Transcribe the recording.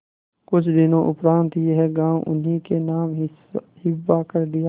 कुछ दिनों उपरांत यह गॉँव उन्हीं के नाम हिब्बा कर दिया